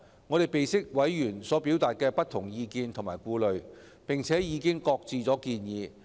我們備悉委員所表達的不同意見及顧慮，並已擱置建議。